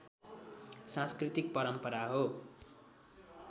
सांस्कृतिक परम्परा हो